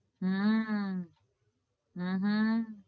હમ હમ હમ